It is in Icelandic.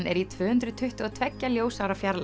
er í tvö hundruð tuttugu og tvö ljósára fjarlægð